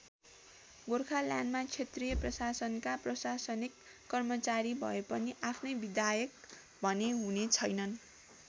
गोर्खाल्यान्डमा क्षेत्रीय प्रशासनका प्रशासनिक कर्मचारी भए पनि आफ्नै विधायक भने हुने छैनन्।